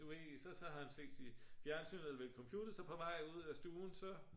du ved så har sit fjernsyn eller computer så på vej ud af stuen så